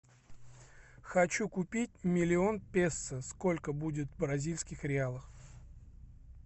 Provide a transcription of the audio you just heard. хочу купить миллион песо сколько будет бразильских реалов